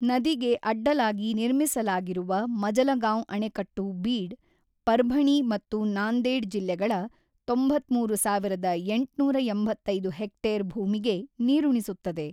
ನದಿಗೆ ಅಡ್ಡಲಾಗಿ ನಿರ್ಮಿಸಲಾಗಿರುವ ಮಜಲಗಾಂವ್ ಅಣೆಕಟ್ಟು ಬೀಡ್, ಪರ್ಭಣಿ ಮತ್ತು ನಾಂದೇಡ್ ಜಿಲ್ಲೆಗಳ ತೊಂಬತ್ತ್ಮೂರು ಸಾವಿರದ ಎಂಟುನೂರ ಎಂಬತ್ತೈದು ಹೆಕ್ಟೇರ್ ಭೂಮಿಗೆ ನೀರುಣಿಸುತ್ತದೆ.